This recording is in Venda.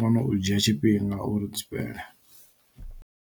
kono u dzhia tshifhinga uri dzi fhele.